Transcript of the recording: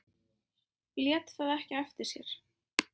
Lét það ekki eftir sér.